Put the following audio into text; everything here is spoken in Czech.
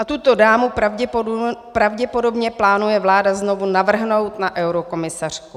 A tuto dámu pravděpodobně plánuje vláda znovu navrhnout na eurokomisařku.